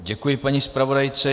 Děkuji paní zpravodajce.